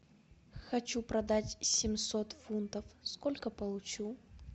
хочу продать семьсот фунтов сколько получу